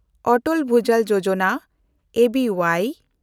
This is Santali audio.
ᱚᱴᱚᱞ ᱵᱷᱩᱡᱟᱞ ᱡᱳᱡᱚᱱᱟ (ᱮᱹ ᱵᱤ ᱳᱣᱟᱭ)